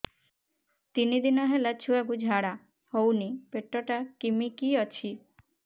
ତିନି ଦିନ ହେଲା ଛୁଆକୁ ଝାଡ଼ା ହଉନି ପେଟ ଟା କିମି କି ଅଛି